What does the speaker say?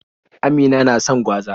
Amina na son gwaza.